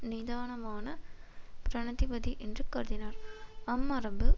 நிதானமான பிரனதிபதி என்று கருதினார் அம்மரபு